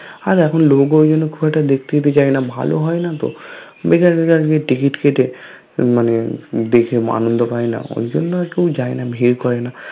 আর এখন লোকও কিন্তু খুব একটা দেখতে যায় না ভালো হয়না তো বেকার বেকার গিয়ে ticket কেটে মানে দেখে আনন্দ পায় না ঐজন্য আর কেও যায়না ভিড় করে না